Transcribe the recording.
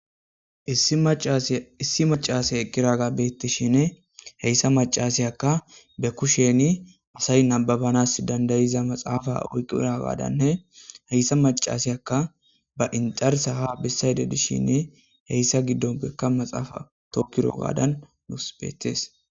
issi macase eqiraga bettishshinni heyssa macasiyakka be kushsheni asay nababanas dandayiza maxafa oyqiragadanne heyssa macasiyakka ba inxarsa ha bissayde dishinni heyssa giddonpekka maxaafa tokirro gaddan nus betees